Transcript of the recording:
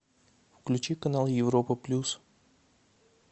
включи канал европа плюс